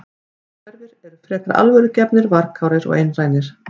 Innhverfir eru frekar alvörugefnir, varkárir og einrænir.